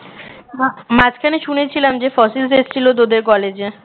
মা~ মাঝখানে শুনেছিলাম যে ফসিলস এসেছিল তোদের কলেজে